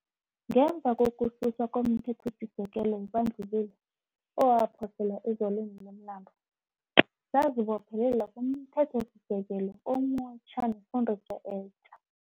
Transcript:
Ngemva kokususwa komThethosisekelo webandlululo owaphoselwa ezaleni lomlando, sazibophelela kumThethosisekelo omutjha nefundiso etja.